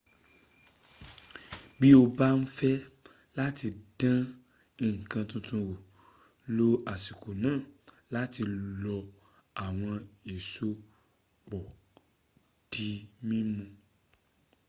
bí o bá ń fẹ́ láti dán nǹkan tuntun wò lo àsìkò náà láti fi lọ àwọn èso pọ̀ di mímu